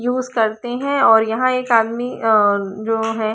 use करते है और यहाँ एक आदमी जो है--